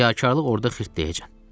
Riyakarlıq orda xırt deyəcək.